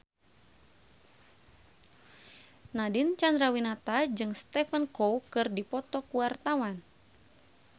Nadine Chandrawinata jeung Stephen Chow keur dipoto ku wartawan